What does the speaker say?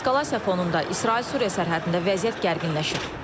Eskalasiya fonunda İsrail-Suriya sərhədində vəziyyət gərginləşib.